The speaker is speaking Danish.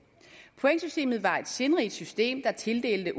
pointsystemet var et sindrigt system der tildelte